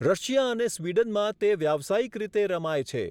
Russia અને સ્વિડનમાં તે વ્યાવસાયિક રીતે રમાય છે.